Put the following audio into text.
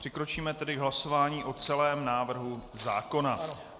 Přikročíme tedy k hlasování o celém návrhu zákona.